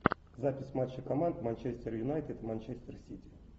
запись матча команд манчестер юнайтед и манчестер сити